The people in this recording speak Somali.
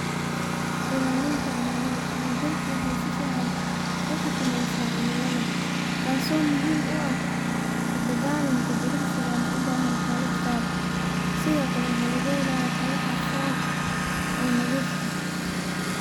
Wexey sofan uxakameysa cilimlada taso muhiim uaha ladagalanka jimcisiga siddo kale waxa lagahelaya hawo aad ufican.